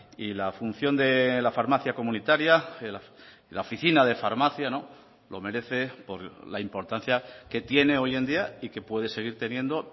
y la función de la farmacia comunitaria la oficina de farmacia lo merece por la importancia que tiene hoy en día y que puede seguir teniendo